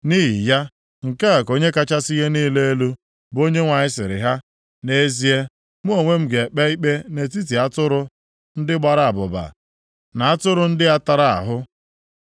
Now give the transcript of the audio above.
“ ‘Nʼihi ya, nke a ka Onye kachasị ihe niile elu, bụ Onyenwe anyị sịrị ha, nʼezie, mụ onwe m ga-ekpe ikpe nʼetiti atụrụ ndị gbara abụba, na atụrụ ndị a tara ahụ.